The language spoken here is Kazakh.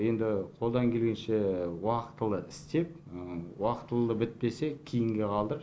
енді қолдан келгенше уақытылы істеп уақытылы бітпесе кейінге қалдырып